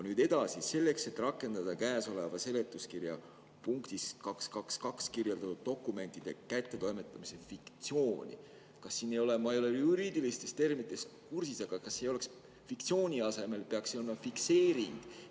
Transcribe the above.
Nüüd edasi: "Selleks, et rakendada käesoleva seletuskirja punktis 2.2.2 kirjeldatud dokumentide kättetoimetamise fiktsiooni …" Kas siin ei peaks, ma ei ole juriidiliste terminitega kursis, aga kas "fiktsiooni" asemel ei peaks olema "fikseering"?